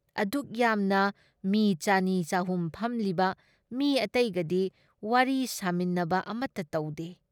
ꯑꯗꯨꯛ ꯌꯥꯝꯅ ꯃꯤ ꯆꯅꯤ ꯆꯍꯨꯝ ꯐꯝꯂꯤꯕ ꯃꯤ ꯑꯇꯩꯒꯗꯤ ꯋꯥꯔꯤ ꯁꯥꯃꯤꯟꯅꯕ ꯑꯃꯇ ꯇꯧꯗꯦ ꯫